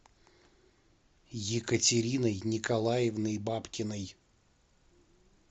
екатериной николаевной бабкиной